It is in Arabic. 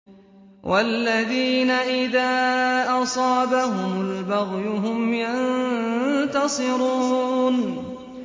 وَالَّذِينَ إِذَا أَصَابَهُمُ الْبَغْيُ هُمْ يَنتَصِرُونَ